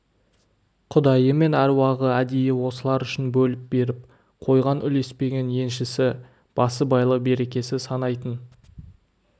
құдайы мен әруағы әдейі осылар үшін бөліп беріп қойған үлеспеген еншісі басыбайлы берекесі санайтын